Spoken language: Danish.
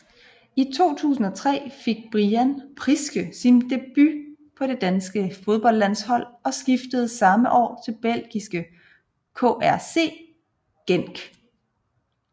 I 2003 fik Brian Priske sin debut på det danske fodboldlandshold og skiftede samme år til belgiske KRC Genk